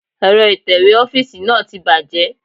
Èrọ ìtẹ̀wé ọ́fíìsì náà ti bàjẹ́.